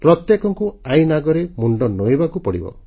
ପ୍ରତ୍ୟେକଙ୍କୁ ଆଇନ ଆଗରେ ମୁଣ୍ଡ ନୂଆଇଁବାକୁ ହେବ